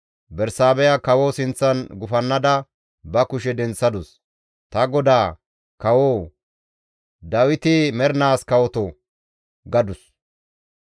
Bersaabeha kawoza sinththan gufannada ba kushe denththadus; «Ta godaa, Kawo Dawiti mernaas kawoto!» gadus.